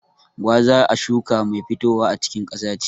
Gwaza a shuka mai fitowa a cikin ƙasa ce.